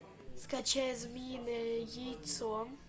скачай змеиное яйцо